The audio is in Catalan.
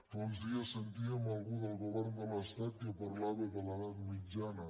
fa uns dies sentíem algú del govern de l’estat que parlava de l’edat mitjana